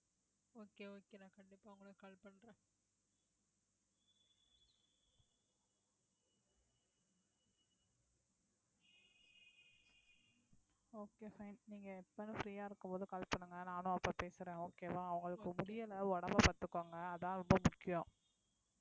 நீங்க எப்பவும் free ஆ இருக்கும்போது call பண்ணுங்க நானும் அப்ப பேசுறேன் okay வா உங்களுக்கு முடியலை உடம்பை பார்த்துக்கோங்க அதான் ரொம்ப முக்கியம்